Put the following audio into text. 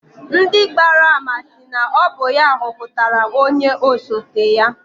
Ndị gbara ama sị na ọ bụ ya họpụtara onye osote ya.